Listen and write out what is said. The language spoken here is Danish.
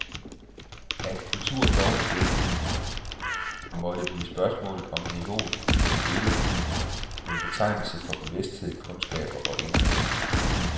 At kultur dog igen måtte blive et spørgsmål om niveauet på det hele, en betegnelse for bevidsthed, kundskaber og indhold.